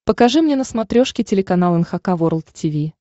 покажи мне на смотрешке телеканал эн эйч кей волд ти ви